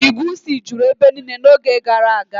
Igwu isi juru ebe niile n'oge gara aga